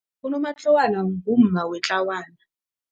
Unomatlawana ngumma wetlawana.